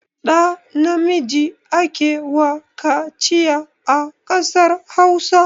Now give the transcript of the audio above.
Ɗa namiji ake wa kaciya a kasar Hausa